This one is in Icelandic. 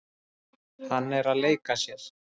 Hann er að leika sér.